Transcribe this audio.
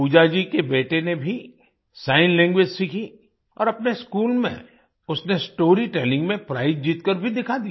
पूजा जी के बेटे ने भी सिग्न लैंग्वेज सीखी और अपने स्कूल में उसने स्टोरीटेलिंग में प्राइज जीतकर भी दिखा दिया